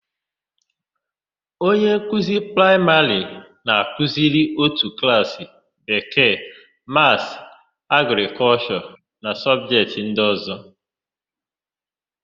Onye nkuzi praịmarị na-akụziri ótù klaasị Bekee, Maasị, Agrịkọlshọ na sọbjetị ndị ọ̀zọ́.